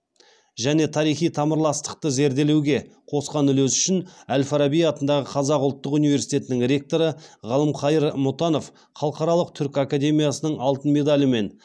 және тарихи тамырластықты зерделеуге қосқан үлесі үшін әл фараби атындағы қазақ ұлттық университетінің ректоры ғалымқайыр мұтанов халықаралық түркі академиясының алтын медалімен